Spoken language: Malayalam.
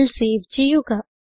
ഫയൽ സേവ് ചെയ്യുക